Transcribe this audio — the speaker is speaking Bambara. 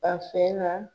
A fɛ na